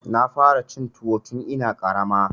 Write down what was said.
Na fara cin tuwo tun ina ƙarama.